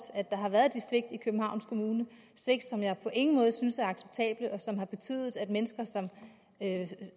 at der har været de svigt i københavns kommune svigt som jeg på ingen måde synes er acceptable og som har betydet at mennesker som